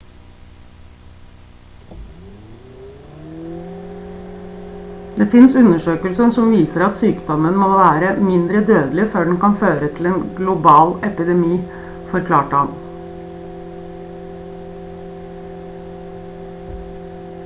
det finnes undersøkelser som viser at sykdommen må være mindre dødelig før den kan føre til en global epidemi forklarte han